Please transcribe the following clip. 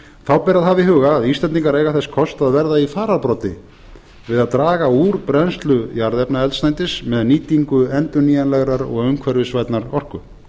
þá ber að hafa í huga að íslendingar eiga þess kost að verða í fararbroddi við að draga úr brennslu jarðefnaeldsneytis með nýtingu endurnýjanlegrar og umhverfisvænnar orku